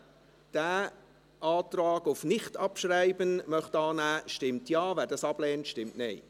Wer diesen Antrag auf Nichtabschreiben annehmen möchte, stimmt Ja, wer dies ablehnt, stimmt Nein.